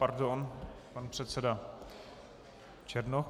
Pardon, pan předseda Černoch.